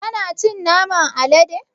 Kana cin naman alade?